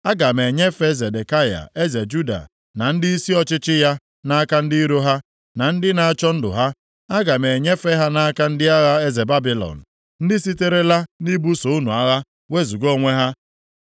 “Aga m enyefe Zedekaya eze Juda na ndịisi ọchịchị ya nʼaka ndị iro ha, ndị na-achọ ndụ ha. Aga m enyefe ha nʼaka ndị agha eze Babilọn, ndị siterela nʼibuso unu agha wezuga onwe ha.